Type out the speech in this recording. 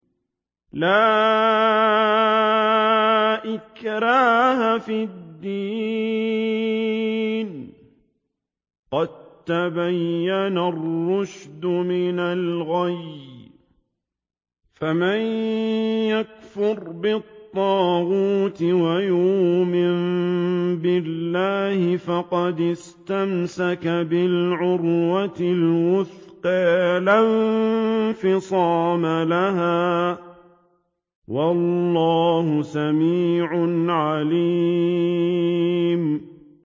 لَا إِكْرَاهَ فِي الدِّينِ ۖ قَد تَّبَيَّنَ الرُّشْدُ مِنَ الْغَيِّ ۚ فَمَن يَكْفُرْ بِالطَّاغُوتِ وَيُؤْمِن بِاللَّهِ فَقَدِ اسْتَمْسَكَ بِالْعُرْوَةِ الْوُثْقَىٰ لَا انفِصَامَ لَهَا ۗ وَاللَّهُ سَمِيعٌ عَلِيمٌ